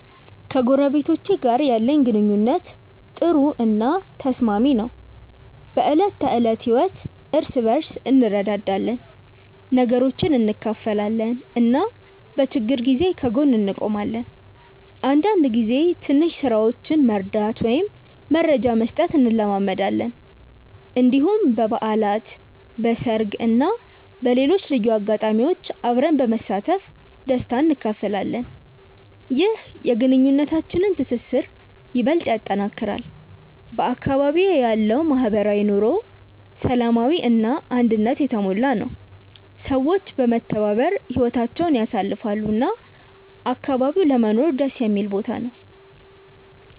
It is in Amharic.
ከጎረቤቶቼ ጋር ያለኝ ግንኙነት ጥሩ እና ተስማሚ ነው። በዕለት ተዕለት ህይወት እርስ በርስ እንረዳዳለን፣ ነገሮችን እንካፈላለን እና በችግር ጊዜ ከጎን እንቆማለን። አንዳንድ ጊዜ ትንሽ ስራዎችን መርዳት ወይም መረጃ መስጠት እንለማመዳለን። እንዲሁም በበዓላት፣ በሰርግ እና በሌሎች ልዩ አጋጣሚዎች አብረን በመሳተፍ ደስታ እንካፈላለን። ይህ የግንኙነታችንን ትስስር ይበልጥ ያጠናክራል። በአካባቢዬ ያለው ማህበራዊ ኑሮ ሰላማዊ እና አንድነት የተሞላ ነው፤ ሰዎች በመተባበር ህይወታቸውን ያሳልፋሉ እና አካባቢው ለመኖር ደስ የሚል ቦታ ነው።